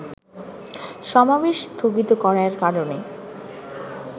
সমাবেশ স্থগিত করার কারণে